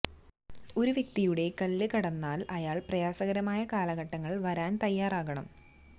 ഒരു വ്യക്തിയുടെ കല്ല് കടന്നാൽ അയാൾ പ്രയാസകരമായ കാലഘട്ടങ്ങൾ വരാൻ തയ്യാറാകണം